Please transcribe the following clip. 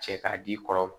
Cɛ k'a di i kɔrɔ